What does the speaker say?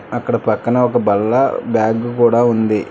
అక్కడ పక్కన ఒక బల్లా బ్యాగు కూడా ఉంది.